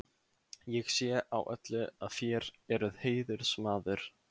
Ég sé á öllu, að þér eruð heiðursmaður.